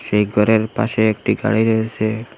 এই ঘরের পাশে একটি গাড়ি রয়েসে।